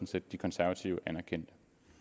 set de konservative anerkendte